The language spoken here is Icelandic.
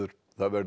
það verður